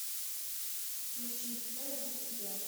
включи кто я для тебя